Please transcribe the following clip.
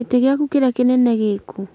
Gĩtĩ giaku kĩrĩa kĩnene gĩĩkũ?